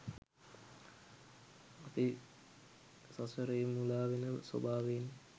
අපි සසරේ මුලාවෙන ස්වභාවයෙන්